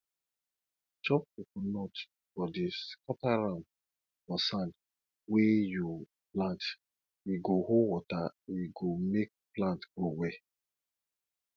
chop coconut body scatter am for sand wey you plant e go hold water e go make plant grow well